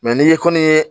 Mɛ n'i ye koni ye